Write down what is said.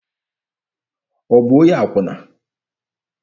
Ọ bụ onye akwụna?